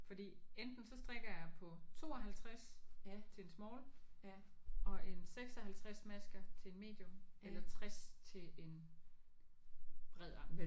Fordi enten så strikker jeg på 52 til en small og en 56 masker til en medium eller 60 til en bred ankel